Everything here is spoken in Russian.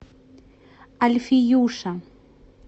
альфиюша